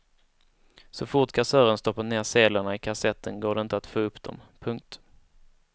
Så fort kassören stoppat ner sedlarna i kassetten går det inte att få upp dem. punkt